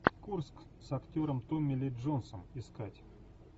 курск с актером томми ли джонсом искать